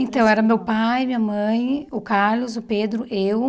Então, era meu pai, minha mãe, o Carlos, o Pedro, eu.